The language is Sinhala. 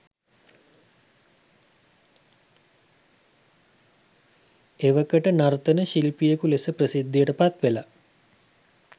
එවකට නර්තන ශිල්පියෙකු ලෙස ප්‍රසිද්ධියට පත්වෙලා